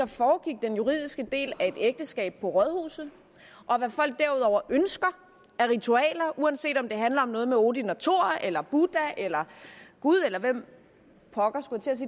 foregik den juridiske del af et ægteskab på rådhuset og hvad folk derudover ønsker af ritualer uanset om det handler om noget med odin og thor eller buddha eller gud eller hvem pokker